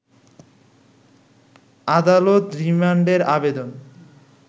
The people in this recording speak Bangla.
আদালত রিমান্ডের আবেদন